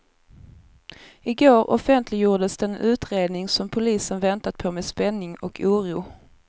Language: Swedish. Igår offentliggjordes den utredning, som polisen väntat på med spänning och oro.